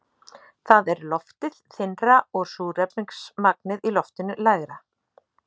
Þar er loftið þynnra og súrefnismagnið í loftinu lægra.